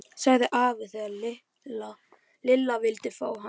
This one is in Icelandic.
sagði afi þegar Lilla vildi fá hann með.